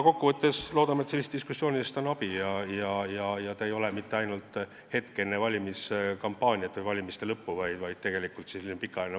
Kokkuvõtteks: loodame, et sellest diskussioonist on abi, et see ei ole mitte ainult hetk enne valimiskampaania lõppu, vaid pikaajaline erakondadeülene vaade.